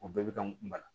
O bɛɛ bɛ ka n bala